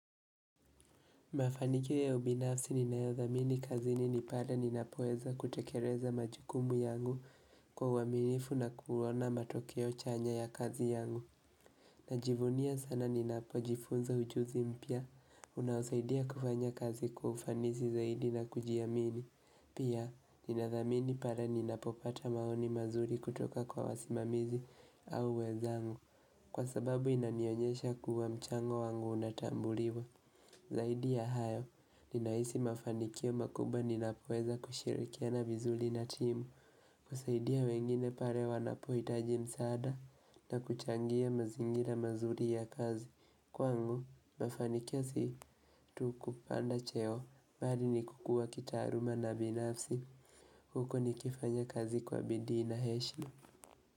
Mafanikio ya ubinafsi ninayodhamini kazini ni pale ninapoeza kutekeleza majukumu yangu kwa uaminifu na kuona matokeo chanya ya kazi yangu. Najivunia sana ninapojifunza ujuzi mpya. Unasaidia kufanya kazi kufanisi zaidi na kujiamini. Pia ninathamini pale ninapopata maoni mazuri kutoka kwa wasimamizi au wenzangu. Kwa sababu inanionyesha kuwa mchango wangu unatambuliwa. Zaidi ya hayo, ninahisi mafanikio makubwa ninapoeza kushirikiana vizuri na timu, kusaidia wengine pale wanapohitaji msaada na kuchangia mazingira mazuri ya kazi. Kwangu, mafanikio si tu kupanda cheo, bali ni kukuwa kitaaluma na binafsi, huko nikifanya kazi kwa bidii na heshima.